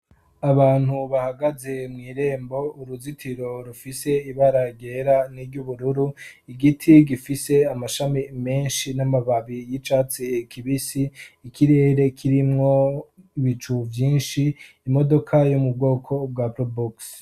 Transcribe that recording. abantu bahagaze mu irembo uruzitiro rufise ibarara n'iry'ubururu igiti gifise amashami menshi n'amababi y'icatsi kibisi ikirere kirimwo ibicu byinshi imodoka yumubwoko bwa probox